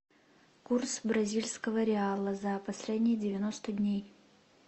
курс бразильского реала за последние девяносто дней